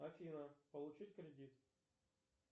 афина получить кредит